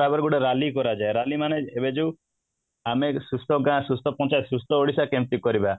ତାପରେ ଗୋଟେ rally କରାଯାଏ rally ମାନେ ଏବେ ଯୋଉ ଆମେ ସୁସ୍ଥ ଗାଁ ସୁସ୍ଥ ପଞ୍ଚାୟତ ସୁସ୍ଥ ଓଡିଶା କେମିତି କରିବା ?